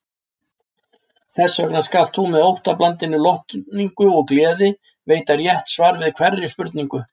Þessvegna skalt þú með óttablandinni lotningu og gleði veita rétt svar við hverri spurningu.